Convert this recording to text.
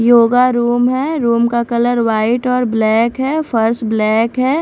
Yoga room है room का colour white और ब्लैक है फर्श ब्लैक है।